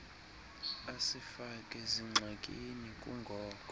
asifake zingxakini kungoko